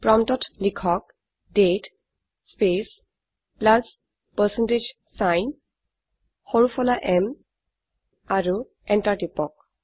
প্ৰম্পটত লিখক দাঁতে স্পেচ প্লাছ পাৰচেণ্টেজ ছাইন সৰু ফলা m আৰু এন্টাৰ টিপক